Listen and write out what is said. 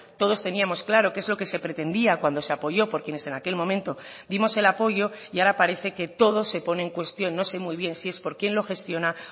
todos teníamos claro qué es lo que se pretendía cuando se apoyó por quienes en aquel momento dimos el apoyo y ahora parece que todo se pone en cuestión no sé muy bien si es por quien lo gestiona